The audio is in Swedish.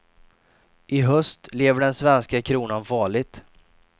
I höst lever den svenska kronan farligt.